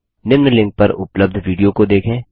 निम्न लिंक पर उपलब्ध विडियो को देखें